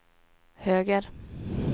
höger